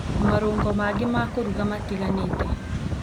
na marũngo mangĩ ma kũruga matiganĩte.